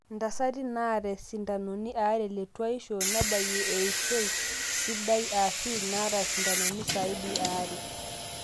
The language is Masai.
intasati naata isindanoni aare le tuaishu nebayie eishoi sidai aashu inaata isindanoni saidi eaare